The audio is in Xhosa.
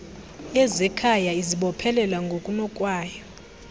yezekhaya izibophelela ngokunokwayo